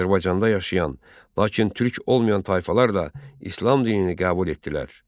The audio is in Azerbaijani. Azərbaycanda yaşayan, lakin Türk olmayan tayfalar da İslam dinini qəbul etdilər.